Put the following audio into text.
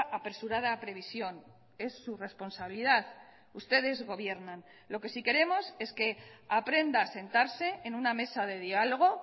apresurada previsión es su responsabilidad ustedes gobiernan lo que sí queremos es que aprenda a sentarse en una mesa de diálogo